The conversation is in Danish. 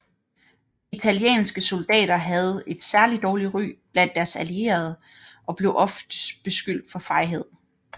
Italienske soldater havde et særlig dårligt ry blandt deres allierede og blev ofte beskyldt for fejhed